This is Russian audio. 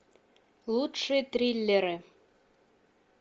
лучшие триллеры